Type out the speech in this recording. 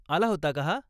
आला होता का हा?